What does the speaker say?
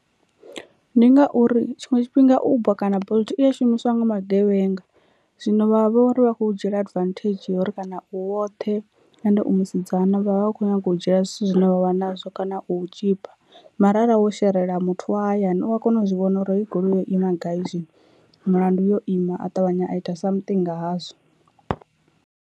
Ndi ngauri tshiṅwe tshifhinga uber kana bolt iya shumiswa nga magevhenga, zwino vha vho ri vha kho dzhiela advantage uri kana u woṱhe and u musidzana vha vha vha vha kho nyaga u dzhiela zwithu nṱha zwine wavha nazwo kana u tshipa, mara arali wo sherela muthu wa hayani u a kona u zwi vhona uri hei goloi yo ima gai zwino mulandu yo ima a ṱavhanya a ita something nga hazwo.